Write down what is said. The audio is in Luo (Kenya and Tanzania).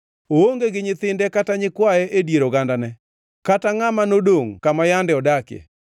Oonge gi nyithinde kata nyikwaye e dier ogandane, kata ngʼama nodongʼ kama yande odakie.